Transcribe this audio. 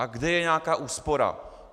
A kde je nějaká úspora?